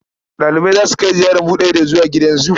Ɗalibai za su kai ziyarar buɗe ido zuwa gidan zu.